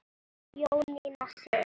Jónína Sif.